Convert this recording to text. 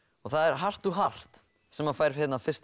og það er sem fær fyrst